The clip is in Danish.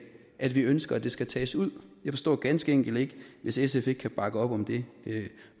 at vi ønsker at det skal tages ud jeg forstår ganske enkelt ikke hvis sf ikke kan bakke op om det